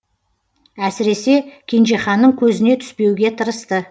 әсіресе кенжеханның көзіне түспеуге тырысты